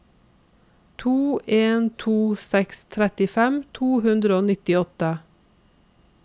to en to seks trettifem to hundre og nittiåtte